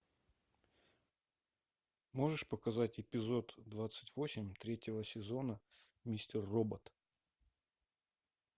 можешь показать эпизод двадцать восемь третьего сезона мистер робот